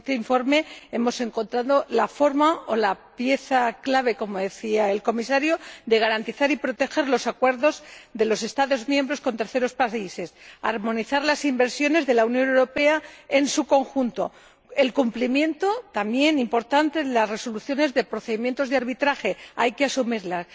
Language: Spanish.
Con este informe hemos encontrado la pieza clave, como decía el Comisario, para garantizar y proteger los acuerdos de los Estados miembros con terceros países, armonizar las inversiones de la Unión Europea en su conjunto, y garantizar el cumplimiento, también importante, de las resoluciones de los procedimientos de arbitraje —hay que asumirlas—.